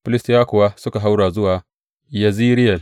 Filistiyawa kuwa suka haura zuwa Yezireyel.